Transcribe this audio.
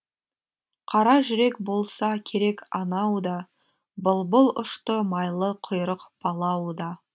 қара жүрек болса керек анау да бұлбұл ұшты майлы құйрық палау да